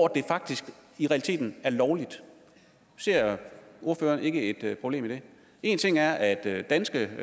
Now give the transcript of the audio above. det faktisk i realiteten er lovligt ser ordføreren ikke et problem i det en ting er at danske